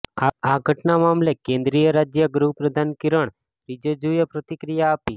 આ ઘટના મામલે કેન્દ્રીય રાજ્ય ગૃહપ્રધાન કિરણ રિજિજુએ પ્રતિક્રિયા આપી